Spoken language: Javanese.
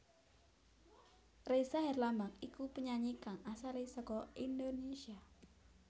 Ressa Herlambang iku penyanyi kang asalé saka Indonesia